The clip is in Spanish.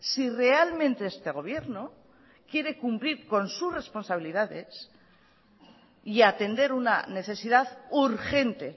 si realmente este gobierno quiere cumplir con sus responsabilidades y atender una necesidad urgente